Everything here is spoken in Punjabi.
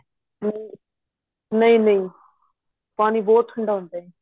ਨਹੀਂ ਨਹੀਂ ਨਹੀਂ ਪਾਣੀ ਬਹੁਤ ਠੰਡਾ ਹੁੰਦਾ ਏ